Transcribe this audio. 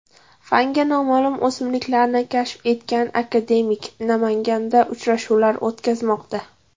Fanga noma’lum o‘simlikni kashf etgan akademik Namanganda uchrashuvlar o‘tkazmoqda.